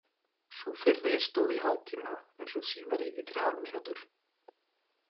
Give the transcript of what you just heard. Sú fyrri stóð í hálftíma en sú síðari í þrjár mínútur.